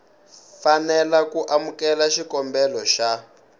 fanela ku amukela xikombelo xa